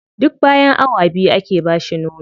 Duk bayan awa biyu ake ba shi nono.